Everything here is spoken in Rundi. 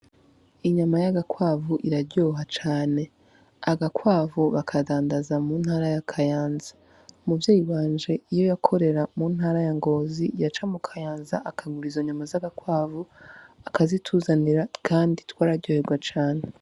Inyama yaga kwavu iraryoha cane, Agakwavu bakadandaza mu ntara ya Kayanza umuvyeyi wanje iyo yakorera mu ntara ya Ngozi yaca Mukayanza akagura izo nyama zaga kwavu akazituzanira kandi twararyoherwa cane .